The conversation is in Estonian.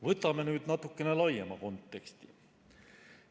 Vaatame nüüd natukene laiemat konteksti.